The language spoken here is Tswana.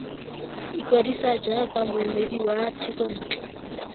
ikwadisa jaaka moemedi wa thekontle